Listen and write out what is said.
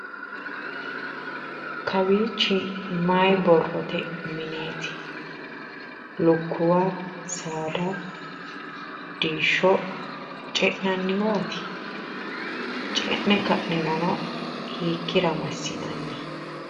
kawiichi maayi borrote mineeti? lukkuwa saada diishsho ce'nanniwaati? ce'ne ka'nirono hiikkira massinanni?